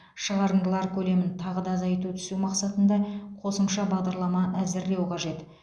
шығарындылар көлемін тағы да азайта түсу мақсатында қосымша бағдарлама әзірлеу қажет